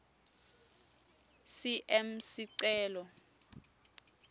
cm sicelo